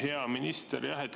Hea minister!